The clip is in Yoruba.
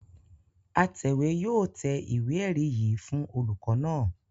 Atẹ̀wé yóò tẹ ìwé-ẹ̀rí yìí fún olùkọ́ní náà.